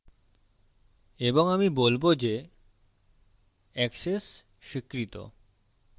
এবং আমি বলবো যে access স্বীকৃত